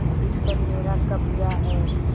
उस पर मेरा कब्जा है